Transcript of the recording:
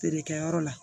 Feere kɛyɔrɔ la